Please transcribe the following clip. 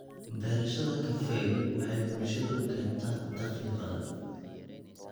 Beerashada kafeegu waxay bulshada u keentaa dakhli badan.